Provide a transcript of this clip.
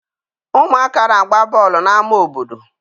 Ụmụaka na-agba bọọlụ n'ámá obodo.